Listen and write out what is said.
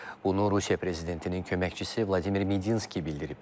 Bunu Rusiya prezidentinin köməkçisi Vladimir Medinski bildirib.